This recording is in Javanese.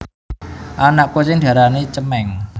Anak kucing diarani cemèng